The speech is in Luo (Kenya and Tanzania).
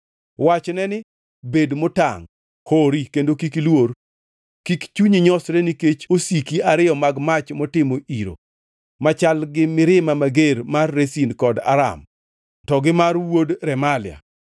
Wachne ni, ‘Bed motangʼ, hori kendo kik iluor. Kik chunyi nyosre nikech osiki ariyo mag mach motimo iro, machal gi mirima mager mar Rezin kod Aram to gi mar wuod Remalia.